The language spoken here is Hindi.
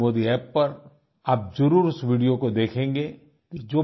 नरेंद्रमोदी App पर आप जरूर उस वीडियो को देखेंगे